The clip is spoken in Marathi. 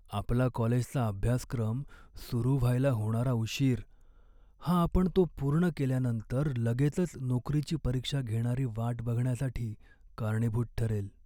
आपला कॉलेजचा अभ्यासक्रम सुरू व्हायला होणारा उशीर हा आपण तो पूर्ण केल्यानंतर लगेचच नोकरीची परीक्षा घेणारी वाट बघण्यासाठी कारणीभूत ठरेल.